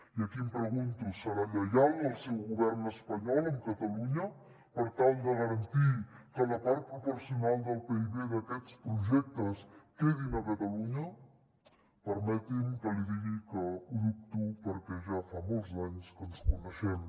i aquí em pregunto serà lleial el seu govern espanyol amb catalunya per tal de garantir que la part proporcional del pib d’aquests projectes quedin a catalunya permeti’m que li digui que ho dubto perquè ja fa molts anys que ens coneixem